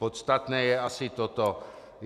Podstatné je asi toto.